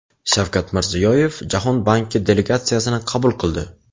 Shavkat Mirziyoyev Jahon banki delegatsiyasini qabul qildi.